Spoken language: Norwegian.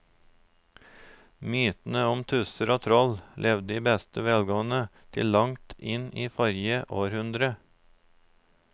Mytene om tusser og troll levde i beste velgående til langt inn i forrige århundre.